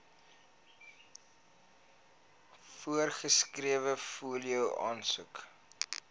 voorgeskrewe fooie aansoek